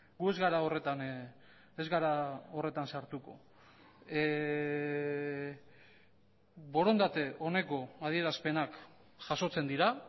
gu ez gara horretan ez gara horretan sartuko borondate oneko adierazpenak jasotzen dira